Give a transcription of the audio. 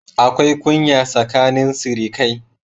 Akwai kunya tsakanin sirikai